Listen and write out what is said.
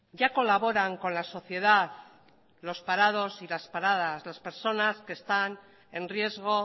ya colaboran con la sociedad los parados y las paradas las personas que están en riesgo